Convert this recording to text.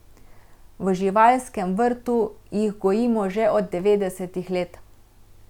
V živalskem vrtu jih gojimo že od devetdesetih let.